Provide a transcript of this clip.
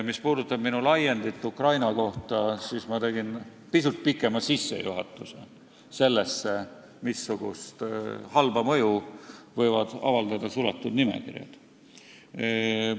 Mis puudutab minu laiendit Ukraina kohta, siis ma tegin pisut pikema sissejuhatuse, et näidata, missugust halba mõju võivad avaldada suletud nimekirjad.